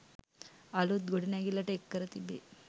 අලුත් ගොඩනැගිල්ලට එක් කර තිබේ.